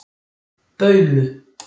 Baulu